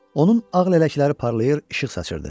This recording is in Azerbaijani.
Onun ağ lələkləri parlayır, işıq saçırdı.